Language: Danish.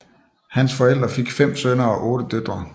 Hans forældre fik fem sønner og otte døtre